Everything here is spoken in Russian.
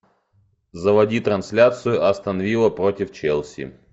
заводи трансляцию астон вилла против челси